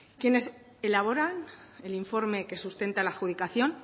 quienes elaboran el informe que sustenta la adjudicación